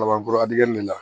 Laban kura in de la